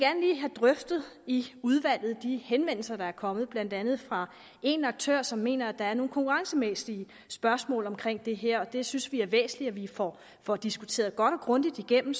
have drøftet i udvalget de henvendelser der er kommet blandt andet fra en aktør som mener at der er nogle konkurrencemæssige spørgsmål omkring det her det synes vi er væsentligt at vi får får diskuteret godt og grundigt igennem